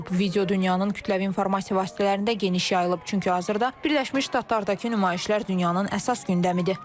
Video dünyanın kütləvi informasiya vasitələrində geniş yayılıb, çünki hazırda Birləşmiş Ştatlardakı nümayişlər dünyanın əsas gündəmidir.